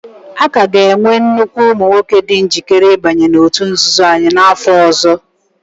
A ka ga-enwekwu ụmụ nwoke dị njikere ịbanye n'òtù nzuzo anyị n'afọ ọzọ.